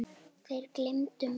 Það gleypti mig.